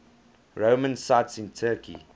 roman sites in turkey